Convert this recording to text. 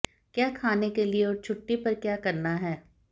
क्या खाने के लिए और छुट्टी पर क्या करना है